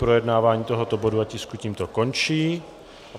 Projednávání tohoto bodu a tisku tímto končí.